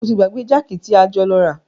O ti gbàgbé jákì tí a jọ lọ rà.